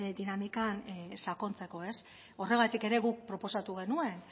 dinamikan sakontzeko horregatik ere guk proposatu genuen